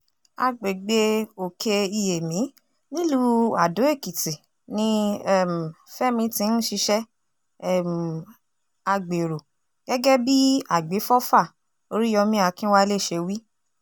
àgbègbè òkè-iyèmí nílùú àdó-èkìtì ni um fẹmi ti ń ṣiṣẹ́ um agbéró gẹ́gẹ́ bí àgbéfọ́fà oríyọmi akínwálé ṣe wí